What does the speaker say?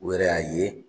U yɛrɛ y'a ye